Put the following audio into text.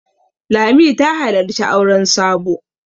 Lami ta halarci auren Sabo.